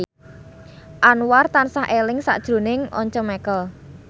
Anwar tansah eling sakjroning Once Mekel